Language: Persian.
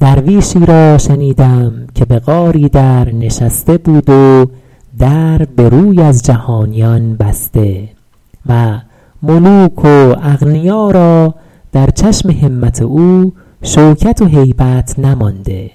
درویشی را شنیدم که به غاری در نشسته بود و در به روی از جهانیان بسته و ملوک و اغنیا را در چشم همت او شوکت و هیبت نمانده